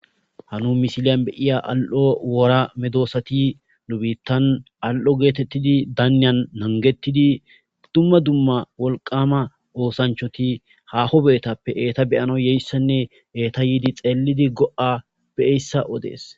hanu misiliyan beyiya al7o wora medoosati nu biittan al7o geetettidi daaniyan nangettidi dumma dumma wolqama oosanchoti haho beetappe eeta beyano yeyssenne eeta yiidi xeelidi go7a beeyssa odees